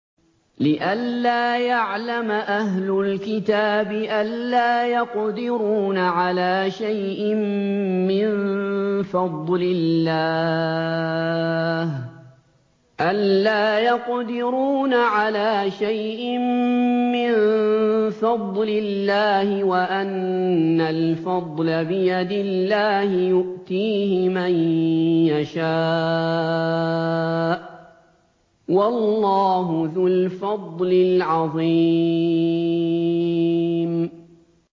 لِّئَلَّا يَعْلَمَ أَهْلُ الْكِتَابِ أَلَّا يَقْدِرُونَ عَلَىٰ شَيْءٍ مِّن فَضْلِ اللَّهِ ۙ وَأَنَّ الْفَضْلَ بِيَدِ اللَّهِ يُؤْتِيهِ مَن يَشَاءُ ۚ وَاللَّهُ ذُو الْفَضْلِ الْعَظِيمِ